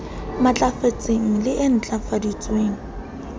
matlafetseng le e ntlafetseng e